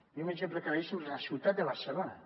i un exemple claríssim és a la ciutat de barcelo·na